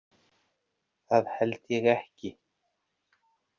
Það held ég ekki.